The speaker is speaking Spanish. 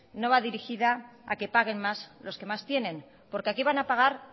no va dirigida a que paguen más los que más tienen porque aquí van a pagar